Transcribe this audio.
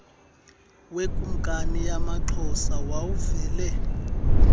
wekumkani yamaxhosa wawuvele